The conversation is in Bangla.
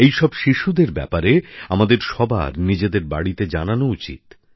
এই সব শিশুদের ব্যাপারে আমাদের সবার নিজেদের বাড়িতে জানানো উচিত